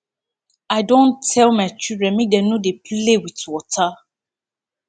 i don tell my children make dem no dey play with water